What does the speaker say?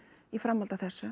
í framhaldi af þessu